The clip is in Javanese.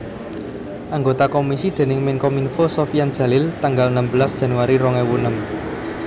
Anggota komisi déning Menkominfo Sofyan Djalil tanggal enem belas Januari rong ewu enem